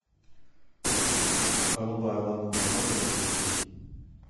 голубая лагуна можешь включить